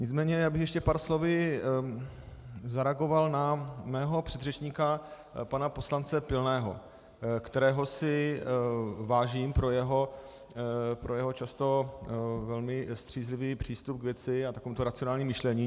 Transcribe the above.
Nicméně já bych ještě pár slovy zareagoval na svého předřečníka pana poslance Pilného, kterého si vážím pro jeho často velmi střízlivý přístup k věci a takové racionální myšlení.